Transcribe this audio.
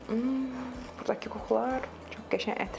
Burdakı qoxular, çox qəşəng ətri var.